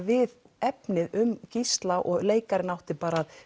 við efnið um Gísla og leikarinn átti